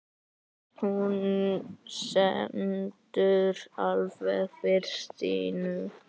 Hún stendur alveg fyrir sínu.